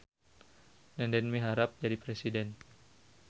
Nenden miharep jadi presiden